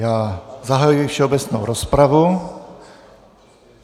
Já zahajuji všeobecnou rozpravu.